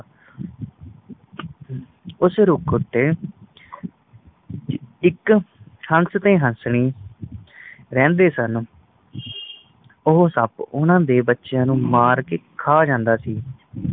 ਉਸ ਰੁੱਖ ਉਤੇ ਇਕ ਹੰਸ ਤੇ ਹਸਣੀ ਰਹਿੰਦੇ ਸਨ ਉਹ ਸੱਪ ਓਹਨਾ ਦੇ ਬੱਚਿਆਂ ਨੂੰ ਮਾਰ ਕੇ ਖਾ ਜਾਂਦਾ ਸੀ